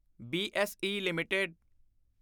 BSE LTD